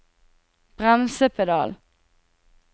bremsepedal